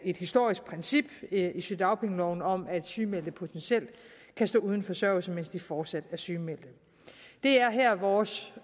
et historisk princip i sygedagpengeloven om at sygemeldte potentielt kan stå uden forsørgelse mens de fortsat er sygemeldte det er her vores